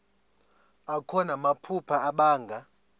akho namaphupha abanga